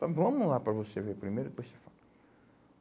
mas vamos lá para você ver primeiro, depois você fala.